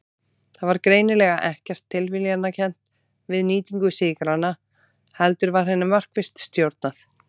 Það var greinilega ekkert tilviljunarkennt við nýtingu sykranna heldur var henni markvisst stjórnað.